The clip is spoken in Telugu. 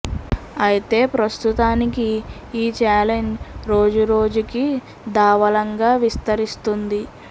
అయితే ప్రస్తుతానికి ఈ ఛాలెంజ్ రోజు రోజు కి దావాళంగా విస్తరిస్తుంది